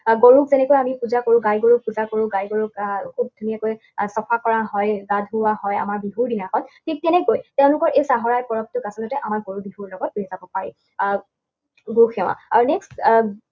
আৰু গৰুক যেনেকৈ আমি পূজা কৰোঁ, গায় গৰুক পূজা কৰোঁ, গায় গৰুক আহ খুব ধুনীয়াকৈ চাফা কৰা হয়, গা ধুওৱা হয়, আমাৰ বিহুৰ দিনাখন। ঠিক তেনেকৈ তেওঁলোকৰ এই চাহৰাই পৰবটোক আচলতে আমাৰ গৰু বিহুৰ লগত ৰিজাব পাৰি। আহ গো সেৱা। আৰু next